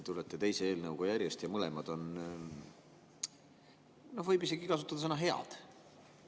Tulete teise eelnõuga järjest ja mõlemad on – võib isegi kasutada seda sõna – head.